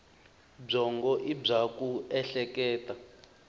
byongo i bya ku ehleketa